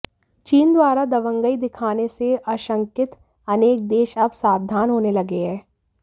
चीन द्वारा दबंगई दिखाने से आशंकित अनेक देश अब सावधान होने लगे हैं